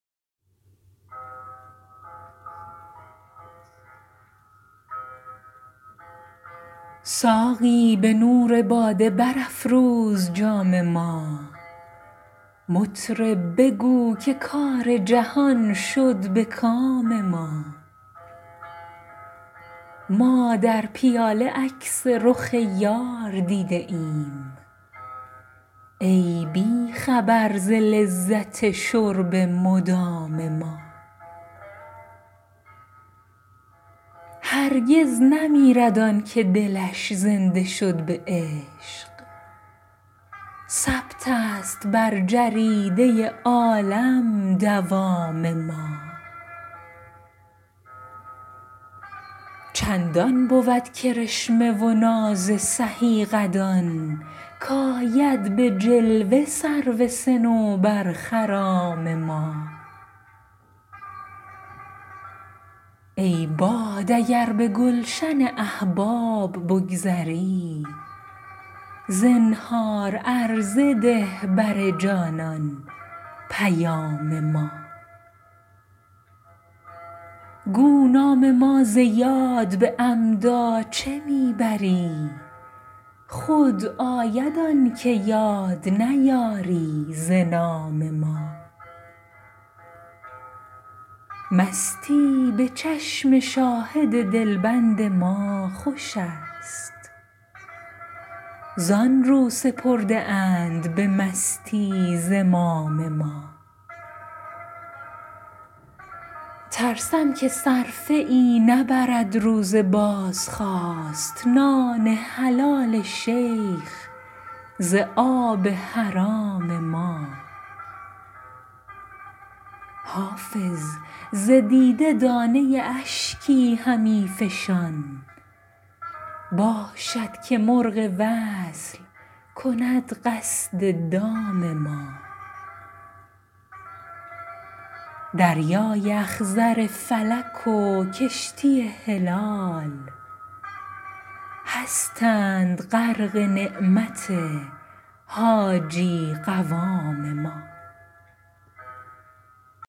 ساقی به نور باده برافروز جام ما مطرب بگو که کار جهان شد به کام ما ما در پیاله عکس رخ یار دیده ایم ای بی خبر ز لذت شرب مدام ما هرگز نمیرد آن که دلش زنده شد به عشق ثبت است بر جریده عالم دوام ما چندان بود کرشمه و ناز سهی قدان کآید به جلوه سرو صنوبرخرام ما ای باد اگر به گلشن احباب بگذری زنهار عرضه ده بر جانان پیام ما گو نام ما ز یاد به عمدا چه می بری خود آید آن که یاد نیاری ز نام ما مستی به چشم شاهد دلبند ما خوش است زآن رو سپرده اند به مستی زمام ما ترسم که صرفه ای نبرد روز بازخواست نان حلال شیخ ز آب حرام ما حافظ ز دیده دانه اشکی همی فشان باشد که مرغ وصل کند قصد دام ما دریای اخضر فلک و کشتی هلال هستند غرق نعمت حاجی قوام ما